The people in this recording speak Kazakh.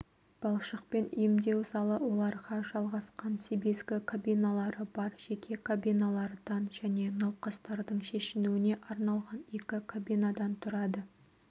балшықпен емдеу залы оларға жалғасқан себезгі кабиналары бар жеке кабиналардан және науқастардың шешінуіне арналған екі кабинадан тұрады